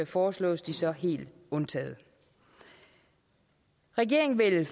foreslås de så helt undtaget regeringen vil